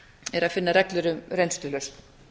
er að finna reglur um reynslulausn